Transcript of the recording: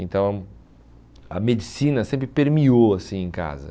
Então, a medicina sempre permeou assim em casa.